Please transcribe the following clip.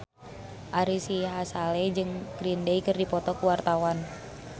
Ari Sihasale jeung Green Day keur dipoto ku wartawan